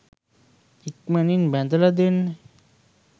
ඉක්මනින් බැඳලා දෙන්න.